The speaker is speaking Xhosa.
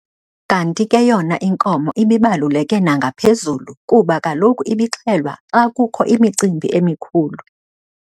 Kanti ke yona inkomo ibibaluleke nangaphezulu kuba kaloku ibixhelwa xa kukho imicimbi emikhulu.